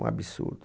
Um absurdo.